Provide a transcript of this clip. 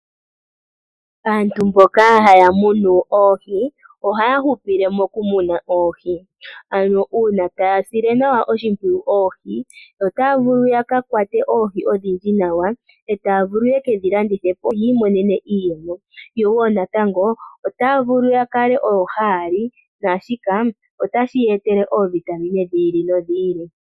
Aantu mboka haya munu oohi ohaya hupile mokumuna oohi, ano uuna taya sile nawa oshimpwiyu oohi otaya vulu ya ka kwate oohi odhindji nawa, e taa vulu ye ke dhi landithe po yi imonene iiyemo. Yo wo natango otaya vulu odho ya kale odho haya li naashika otashi ya etele oovitamine dhi ili nodhi ili.